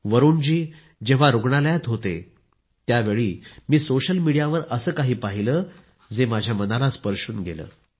वरुण जेव्हा रुग्णालयात होतेत्यावेळी मी सोशल मीडियावर असे काही पहिले जे माझ्या मनाला स्पर्शून गेले